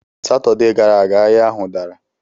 Satọde gara aga, ahịa ahụ dara.